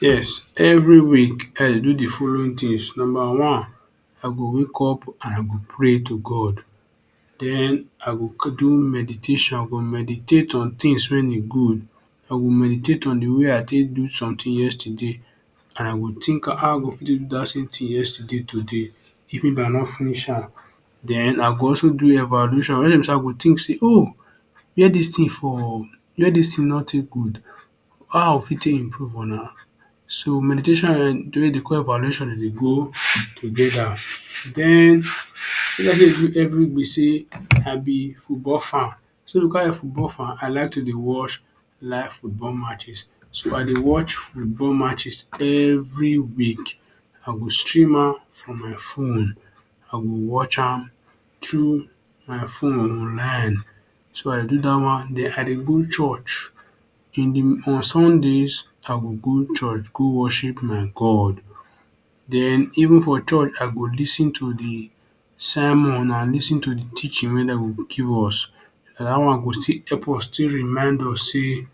Yes, every week I dey do d following tins numba one I go wake up and I go pray to God den I go do meditation I go meditate on tins wey good I go meditate on somethings wey I do yesterday and I go think am how I go take do dat same tin yesterday today if I don finish am den I go also do evaluation wen be sey I go think wey dis tin no take good how I go fit take improve on am so meditation and wetin dem dey call evaluation dem dey go togeda den wetin I dey do everyday be say I b football fan so because I b football fan I like to dey watch live football match so I dey watch football matches every week I go stream am for my fone I go watch am thru my fone online so I do dat wan den I dey go church in de on Sundays I go go church go worship my God den even for d church I go lis ten do d sermon and lis ten to d teaching wey dem go give us na dat one go take remind us say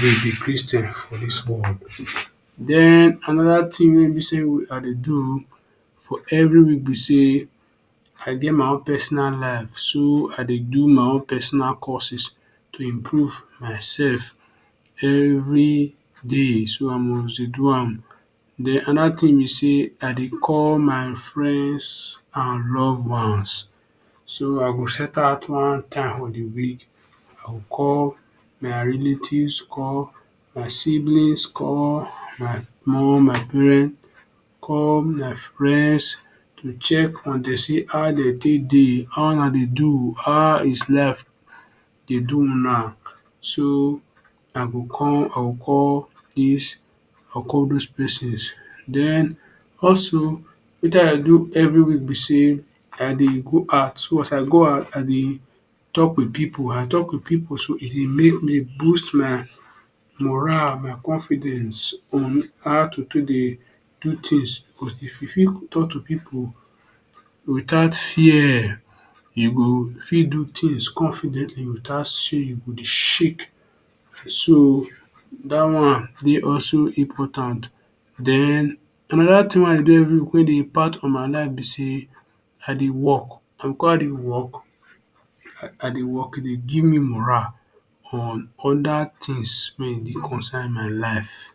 we be christains for dis world den anoda tin wey I dey do for every week be say I get my own personal life so I dey do my own personal courses to improve myself everyday so I must do am den anoda tin be say I dey call my friends and loved ones so I go set out time for d week I go call my relatives call my siblings call my mom my parents call my friends to check on dem see how dem take day how una dey how dis life dey do una so I go con I go call call dose pesins, den also wetin I dey do every week be say I dey go out once I go out I dey talk with people wen I talk with people so e dey make me boost my moral and my confidence on how to take dey do tins cause if you fit talk to people without fear you go fit do things confidently without say you shake so dat one dey also important den another tin wey I dey do everyweek wey dey impact for my life be say I dey work and because I dey work I dey work e dey give me morale on oda tins wey e concern my life.